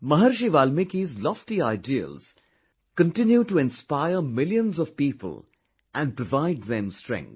Maharishi Valmiki's lofty ideals continue to inspire millions of people and provide them strength